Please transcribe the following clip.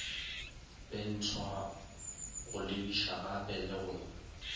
lentshwa go lebišagape le go